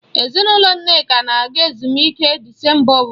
Ezinụlọ Nneka na-aga ezumike Disemba ọbụla.